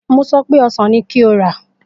Mo so pé ọsàn ni kí o rà!